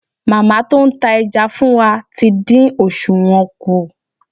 Màmá tó ń ta ẹja fún wa tí dín òsùwọ́n kù.